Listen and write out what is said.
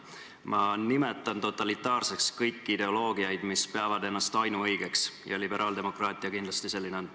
Ma nimetan totalitaarseks kõiki ideoloogiaid, mis peavad ennast ainuõigeks, ja liberaaldemokraatia kindlasti selline on.